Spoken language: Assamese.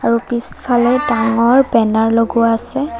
আৰু পিছফালে ডাঙৰ বেনাৰ লগোৱা আছে।